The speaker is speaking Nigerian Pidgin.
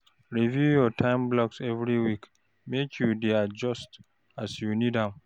Review your time blocks every week, make you dey adjust as you need am.